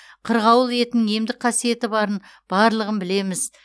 қырғауыл етінің емдік қасиеті барын барлығын білеміз